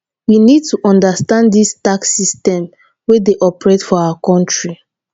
we need to understand di tax system wey dey operate for our country